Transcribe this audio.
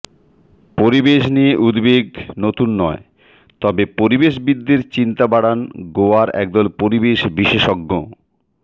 পরিবেশ নিয়ে উদ্বেগ নতুন নয় তবে পরিবেশবিদদের চিন্তা বাড়ান গোয়ার একদল পরিবেশ বিশেষজ্ঞ